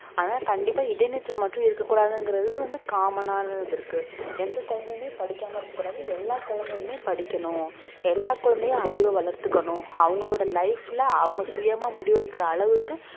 அதனால கண்டிப்பா இடைநிற்றல் மட்டும் இருக்கக் கூடாதுங்கிறது வந்து common ஆனது இருக்கு எந்த குழந்தையுமே படிக்காம இருக்ககூடாது எல்லா குழந்தையுமே படிக்கணும் எல்லா குழந்தையும் அறிவ வளர்த்துக்கணும் அவங்களோட life ல அவங்க சுயமா முடிவெடுக்கிற அளவுக்கு